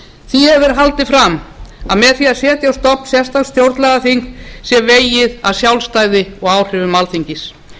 því hefur verið haldið fram að með því að setja á stofn sérstakt stjórnlagaþing sé vegið að sjálfstæði og áhrifum alþingis